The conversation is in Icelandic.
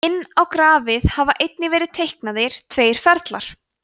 inn á grafið hafa einnig verið teiknaðir tveir ferlar